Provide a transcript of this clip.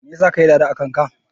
Me yasa ka yi"dada" akan ka?